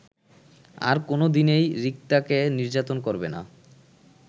আর কোনোদিনই রিক্তাকে নির্যাতন করবেনা